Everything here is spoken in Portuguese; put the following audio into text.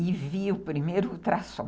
e vi o primeiro ultrassom.